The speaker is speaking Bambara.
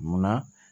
Munna